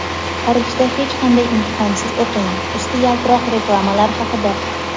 "Xorijda hech qanday imtihonsiz o‘qing" – usti yaltiroq reklamalar haqida.